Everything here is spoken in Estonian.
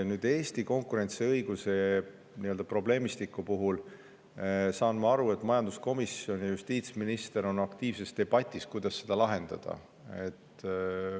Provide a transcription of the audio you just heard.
Nüüd, Eesti konkurentsiõiguse probleemistiku puhul saan ma aru, et majanduskomisjon ja justiitsminister on aktiivses debatis selle üle, kuidas seda lahendada.